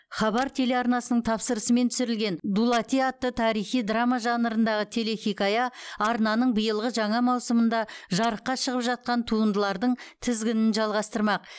хабар телеарнасының тапсырысымен түсірілген дулати атты тарихи драма жанрындағы телехикая арнаның биылғы жаңа маусымында жарыққа шығып жатқан туындылардың тізгінін жалғастырмақ